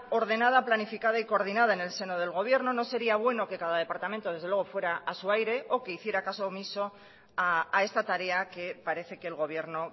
ordenada planificada y coordinada en el seno del gobierno no sería bueno que cada departamento desde luego fuera a su aire o que hiciera caso omiso a esta tarea que parece que el gobierno